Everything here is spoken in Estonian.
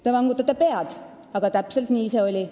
Te vangutate pead, aga täpselt nii see oli.